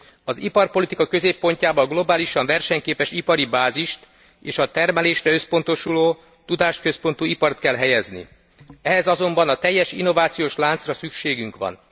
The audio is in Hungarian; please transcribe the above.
Az iparpolitika középpontjába a globálisan versenyképes ipari bázist és a termelésre összpontosuló tudásközpontú ipart kell helyezni. Ehhez azonban a teljes innovációs láncra szükségünk van.